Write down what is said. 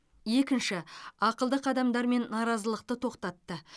екінші ақылды қадамдармен наразылықты тоқтатты